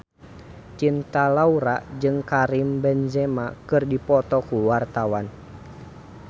Cinta Laura jeung Karim Benzema keur dipoto ku wartawan